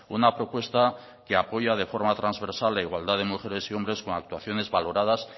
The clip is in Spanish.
una propuesta que apoya de forma transversal la igualdad de mujeres y hombre con actuaciones valoradas